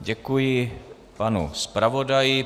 Děkuji panu zpravodaji.